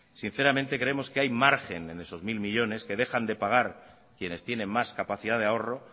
sinceramente creemos que hay margen en esos mil millónes que dejan de pagar quienes tienen más capacidad de ahorro